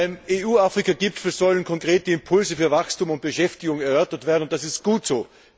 Beim EU Afrika Gipfel sollen konkrete Impulse für Wachstum und Beschäftigung erörtert werden, und das ist gut so.